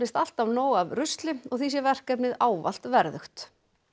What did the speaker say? alltaf nóg af rusli sem og því sé verkefnið ávallt verðugt